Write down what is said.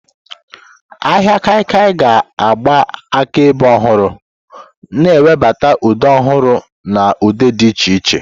Ahịa kaikia ga-agba akaebe ọhụrụ, na-ewebata ụdị ọhụrụ na ụdị dị iche iche.